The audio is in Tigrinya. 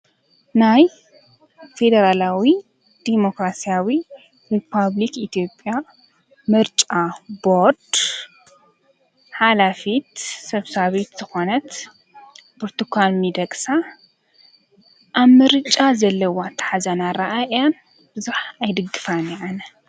ናይ ፌደራላዊ ዴሞክራስያዊ ሪፐብሊክ ኢትዮጵያ ምርጫ ቦርድ ሓላፊት ሰብሳቢት ዝኾነት ብርቱካን ሜዴቕሳ ኣብ ምርጫ ዘለዋ ኣታሓዛን ኣራኣያን ብዙሕ ኣይድግፋን ኣነ እየ።